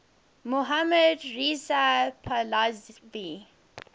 mohammad reza pahlavi